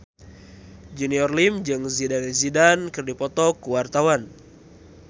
Junior Liem jeung Zidane Zidane keur dipoto ku wartawan